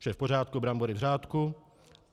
Vše je v pořádku, brambory v řádku.